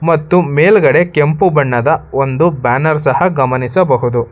ಮತ್ತು ಮೇಲ್ಗಡೆ ಕೆಂಪು ಬಣ್ಣದ ಒಂದು ಬ್ಯಾನರ್ ಸಹ ಗಮನಿಸಬಹುದು.